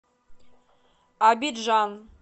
абиджан